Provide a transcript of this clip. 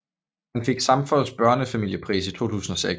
Han fik Samfos Børnefamiliepris i 2006